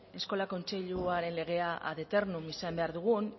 eskola kontseiluaren legea ad eternum izan behar dugun